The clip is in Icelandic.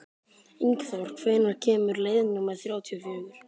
Ingþór, hvenær kemur leið númer þrjátíu og fjögur?